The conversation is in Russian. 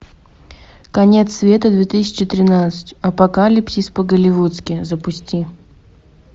конец света две тысячи тринадцать апокалипсис по голливудски запусти